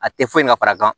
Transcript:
A tɛ foyi ka fara kan